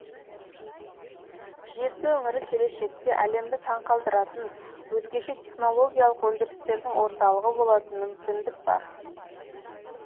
жезді өңірі келешекте әлемді таңқалдыратын өзгеше технологиялық өндірістердің орталығы болатын мүмкіндік бар